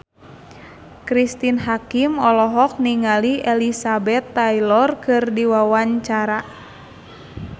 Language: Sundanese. Cristine Hakim olohok ningali Elizabeth Taylor keur diwawancara